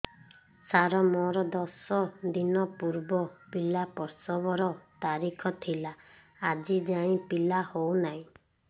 ସାର ମୋର ଦଶ ଦିନ ପୂର୍ବ ପିଲା ପ୍ରସଵ ର ତାରିଖ ଥିଲା ଆଜି ଯାଇଁ ପିଲା ହଉ ନାହିଁ